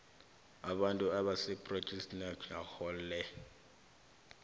abantu abasephrojekhthinakho le